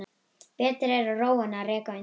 Betra er að róa en reka undan.